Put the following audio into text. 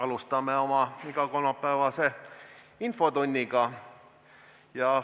Alustame oma igakolmapäevast infotundi.